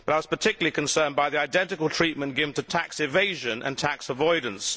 But I was particularly concerned by the identical treatment given to tax evasion and tax avoidance.